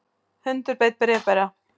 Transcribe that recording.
Hundur beit bréfbera